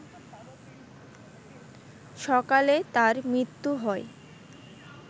সকালে তার মৃত্যু হয়